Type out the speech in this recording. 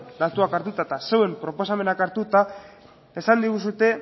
datuak hartuta eta zeuen proposamenak hartuta esan diguzue